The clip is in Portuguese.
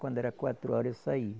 Quando era quatro horas eu saía.